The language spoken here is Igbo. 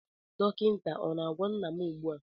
Dọkịta ọ na-agwọ nna m ugbu a?